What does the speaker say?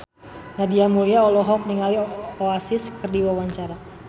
Nadia Mulya olohok ningali Oasis keur diwawancara